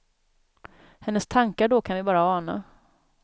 Hennes tankar då kan vi bara ana.